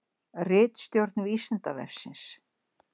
Ritstjórn Vísindavefsins.